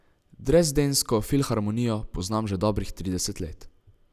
Dresdensko filharmonijo poznam že dobrih trideset let.